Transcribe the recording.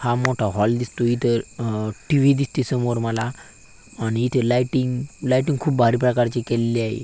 हा मोठा हॉल दिसतोय इथ अ टी.वी. दिसतीय समोर मला आणि इथे लायटिंग लायटिंग खूप भारी प्रकारची केलेली आहे.